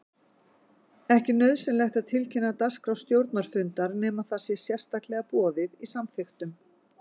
Ekki er nauðsynlegt að tilkynna dagskrá stjórnarfundar nema það sé sérstaklega boðið í samþykktum.